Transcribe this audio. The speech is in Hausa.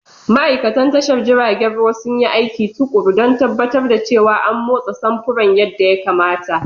Ma'aikatan tashar jiragen ruwa sun yi aiki tuƙuru don tabbatar da cewa an motsa samfuran yadda ya kamata.